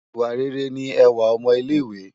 iwá réré ni èwá òmò ilé iwè